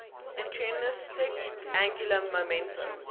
intrinsic angular momentum